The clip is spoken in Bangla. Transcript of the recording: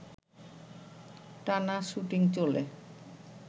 টানা শ্যুটিং চলে